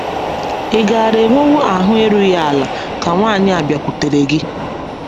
Ị̀ gaara enwewo ahụ erughị ala ka nwanyị a bịakwutere gị?